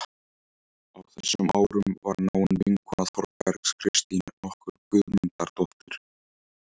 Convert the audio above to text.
Á þessum árum var náin vinkona Þórbergs Kristín nokkur Guðmundardóttir.